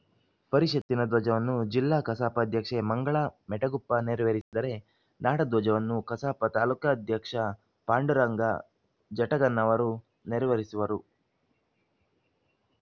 ಪರಿಷತ್ತಿನ ಧ್ವಜವನ್ನ ಜಿಲ್ಲಾ ಕಸಾಪ ಅಧ್ಯಕ್ಷೆ ಮಂಗಳಾ ಮೆಟಗುಪ ನೇರವೇರಿಸಿದರೆ ನಾಡಧ್ವಜವನ್ನು ಕಸಾಪ ತಾಲೂಕಾಧ್ಯಕ್ಷ ಪಾಂಡುರಂಗ ಜಟಗನ್ನವರ ನೇರಿವೇರಿಸುವರು